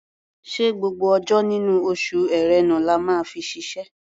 Ṣé gbogbo ọjọ́ nínú oṣù Ẹ̀rẹnà la máa fi ṣiṣẹ́?